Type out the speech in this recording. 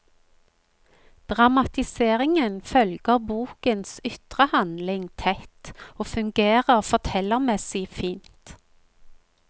Dramatiseringen følger bokens ytre handling tett og fungerer fortellermessig fint.